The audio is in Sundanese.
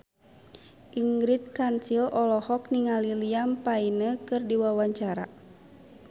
Ingrid Kansil olohok ningali Liam Payne keur diwawancara